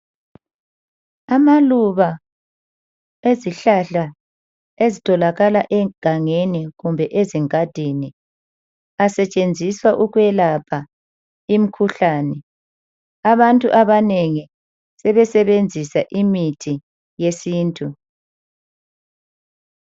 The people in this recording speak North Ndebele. Amaluba ezihlahla ezitholakala egangeni kumbe ezingadini asetshenziswa ukwelapha imikhuhlane abantu abanengi sebesebenzisa imithi yesintu.